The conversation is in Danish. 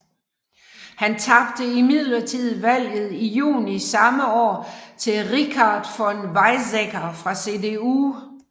Han tabte imidlertid valget i juni samme år til Richard von Weizsäcker fra CDU